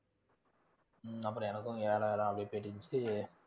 உம் அப்புறம் எனக்கும் வேலை வேலை அப்படியே போயிட்டு இருந்துச்சு